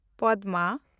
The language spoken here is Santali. ᱯᱚᱫᱢᱟ